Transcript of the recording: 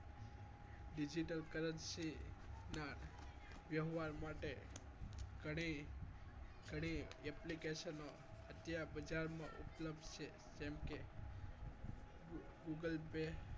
Digital currency ના વ્યવહાર માટે ઘણી ઘણી application ઓ અત્યારે બજારમાં ઉપલબ્ધ છે google pay